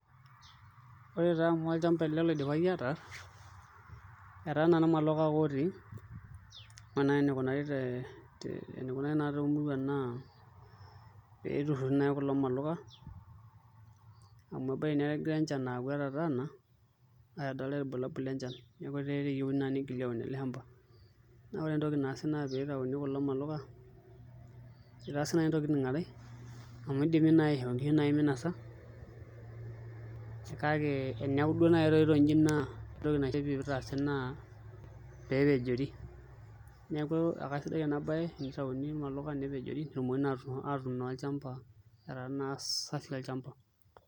Ore taa amu olchamba ele loidipaki ataarr etaa irmaluka ake otii ore naai enikunari naa toomuruan naa peiturruri naai kulo maluka amu ebaiki negira enchan aaku etataana ashu edoltaae irbulabul lenchan neeku eyieuni naa nigili aun ele shamba naa ore entoki naasi naa pee itauni kulo maluka itaasi naai ntokitin are amu idimi naai aishoo nkishu minasa kake eneeku duo naai etoito inji ore entoki naifaa pee itaasi naa peepejori neeku akasidai ena baye tenitauni irmaluka nepejori pee etumokini naa atuun naa olchamba etaa naa safi olchamba.